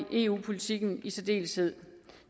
eu politikken i særdeleshed